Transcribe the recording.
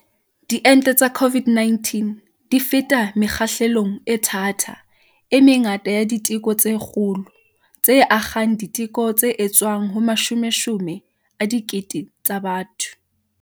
Diente tsa COVID-19 di feta mekgahlelong e thata, e mengata ya diteko tse kgolo, tse akgang diteko tse etswang ho mashomeshome a dikete tsa batho.